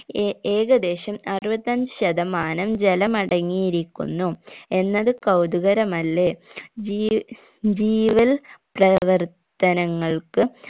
A ഏകദേശം അറുപത്തഞ്ച്‌ ശതമാനം ജലമടങ്ങിയിരിക്കുന്നു എന്നത് കൗതുകരമല്ലേ ജീ ജീവൽ പ്രവർത്തനങ്ങൾക്ക്